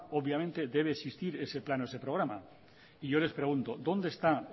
obviamente debe existir ese plan o ese programa y yo les pregunto dónde está